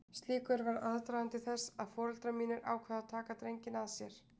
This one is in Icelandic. Slíkur var aðdragandi þess að foreldrar mínir ákváðu að taka drenginn að sér.